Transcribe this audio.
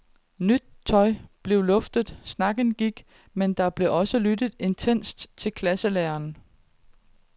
Nyt tøj blev luftet, snakken gik, men der blev også lyttet intenst til klasselæreren.